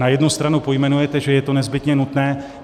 Na jednu stranu pojmenujete, že je to nezbytně nutné.